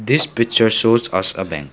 this picture shows us a bank.